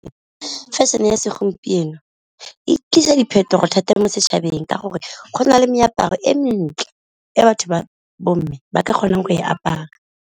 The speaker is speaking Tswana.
Fashion-e ya segompieno e tlisa diphetogo thata mo setšhabeng, ka gore go na le meaparo e mentle e batho ba bo mme ba ka kgonang go e apaya.